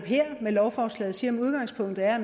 er